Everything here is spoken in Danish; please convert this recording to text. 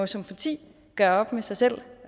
som parti gøre op med sig selv